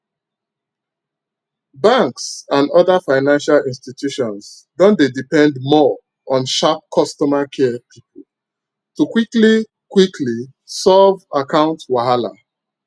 banks and other financial institutions don dey depend more on sharp customer care people to quickly quickly solve account wahala